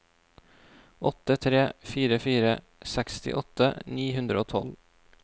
åtte tre fire fire sekstiåtte ni hundre og tolv